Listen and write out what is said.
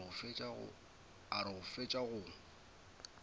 a re go fetša go